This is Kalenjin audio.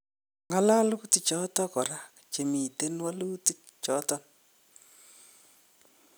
ngalalutik choton kora chemitenwaluti choton